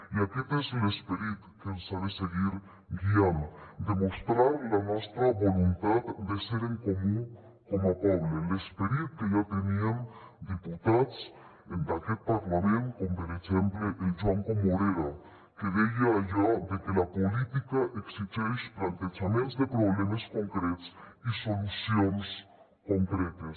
i aquest és l’esperit que ens ha de seguir guiant demostrar la nostra voluntat de ser en comú com a poble l’esperit que ja tenien diputats d’aquest parlament com per exemple el joan comorera que deia allò de que la política exigeix plantejaments de problemes concrets i solucions concretes